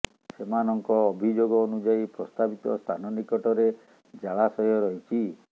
ସେମାନଙ୍କ ଅଭିଯୋଗ ଅନୁଯାୟୀ ପ୍ରସ୍ତାବିତ ସ୍ଥାନ ନିକଟରେ ଜାଳାଶୟ ରହିଛି